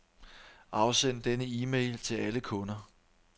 Afsend denne e-mail til alle kunder.